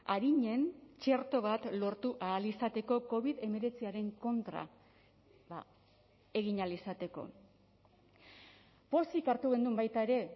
arinen txerto bat lortu ahal izateko covid hemeretziaren kontra egin ahal izateko pozik hartu genuen baita ere